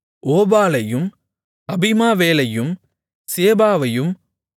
ஓபாலையும் அபிமாவேலையும் சேபாவையும்